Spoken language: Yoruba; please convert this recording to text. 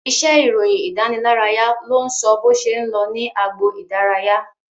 Iṣẹ́ ìròyìn ìdánilárayá ló ń sọ bó ṣe ń lọ ní agbo idaraya